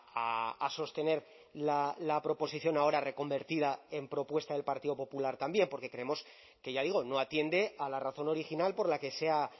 a sostener la proposición ahora reconvertida en propuesta del partido popular también porque creemos que ya digo no atiende a la razón original por la que se ha